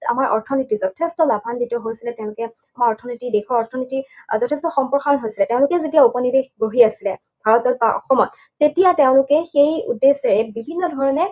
আমাৰ অৰ্থনীতি যথেষ্ঠ লাভান্বিত হৈছিলে, তেওঁলোকে আমাৰ অৰ্থনীতি, দেশৰ অৰ্থনীতি যথেষ্ঠ সম্প্ৰসাৰণ হৈছে, তেওঁলোকে যেতিয়া উপনিৱেশ গঢ়ি আছিলে, ভাৰতত বা অসমত, তেতিয়া তেওঁলোকে সেই উদ্দেশ্যে বিভিন্ন ধৰণে